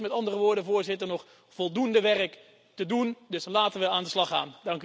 Er is met andere woorden, Voorzitter, nog voldoende werk te doen dus laten we aan de slag gaan.